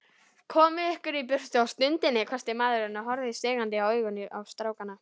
Komið ykkur í burtu á stundinni, hvæsti maðurinn og horfði stingandi augum á strákana.